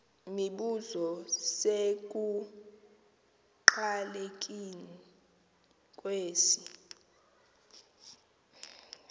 mibuzo isekuqalekeni kwesi